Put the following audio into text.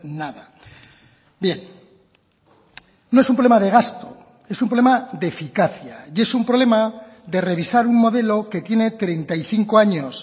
nada bien no es un problema de gasto es un problema de eficacia y es un problema de revisar un modelo que tiene treinta y cinco años